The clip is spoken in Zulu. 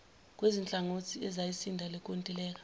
kwezinhlangothi ezisayinda lenkontileka